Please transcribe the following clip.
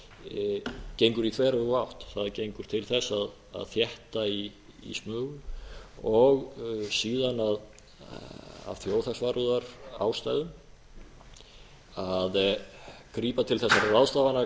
mál gengur í þveröfuga átt það gengur til þess að þétta í smugur og síðan af þjóðhagsvarúðarástæðum að grípa til þessara ráðstafana